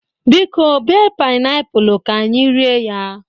Biko, bee painiapulu, ka anyi rie ya